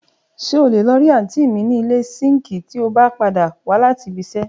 ṣe ọ lé lo ri aunti mí ni ile sinki ti ọ ba pada wa lati bi ṣe